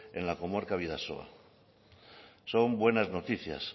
en la comarca bidasoa son buenas noticias